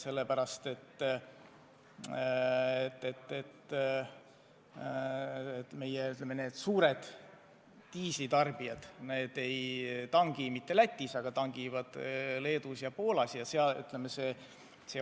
Suured diislikütuse tarbijad ei tangi mitte Lätis, vaid tangivad Leedus ja Poolas.